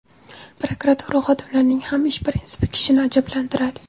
Prokuratura xodimlarining ham ish prinsipi kishini ajablantiradi.